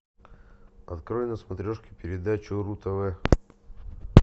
открой на смотрешке передачу ру тв